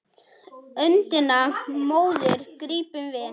Öndina móðir grípum við.